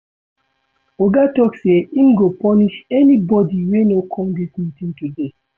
Oga tok sey im go punish anybodi wey no come dis meeting today.